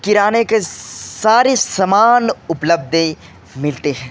किराने के सारे सामान उपलब्ध है मिलते है।